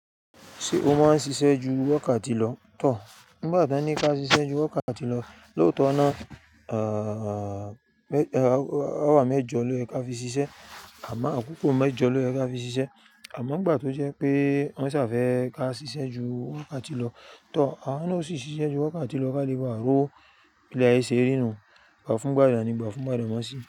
Ṣé o máa ń ṣiṣẹ́ ju wákàtí lọ? Tò, nígbà ti won ní ká ṣiṣẹ́ ju wákàtí lọ, lóòótọ́ náà, à, hour mẹ́jọ ló yẹ ká fi ṣiṣẹ́, àmọ́ àkókò mẹ́jọ ló yẹ ká fi ṣiṣẹ́. Àmọ́ nígbà tó jẹ́ pé wọ́n ṣà fẹ́ ká ṣiṣẹ́ ju wákàtí lọ, tò, a máa ń ṣì ṣiṣẹ́ ju wákàtí lọ ká lè bà ri owo bi ilé ayé ṣe rí inú, ìgbà fún gbàdànì, ìgbà fún gbàdànà sì.